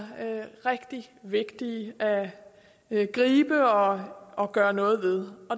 rigtig vigtigt at gribe og og gøre noget ved